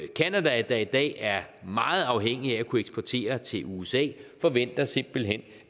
canada der i dag er meget afhængig af at kunne eksportere til usa forventer simpelt hen